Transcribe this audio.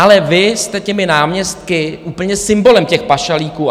Ale vy jste těmi náměstky úplně symbolem těch pašalíků.